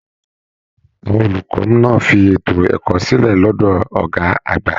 Àwọn olùkọ náà fí ètò ẹ̀kọ́ sílẹ lọdọ ọgá àgbà.